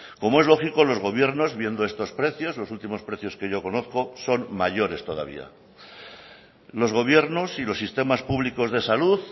como es lógico los gobiernos viendo estos precios los últimos precios que yo conozco son mayores todavía los gobiernos y los sistemas públicos de salud